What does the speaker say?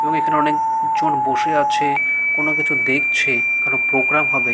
এবং অনেক জন বসে আছে। কোনো কিছু দেখছে কারো প্রোগ্রাম হবে।